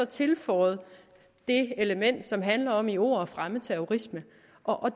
tilføjer det element som handler om i ord at fremme terrorisme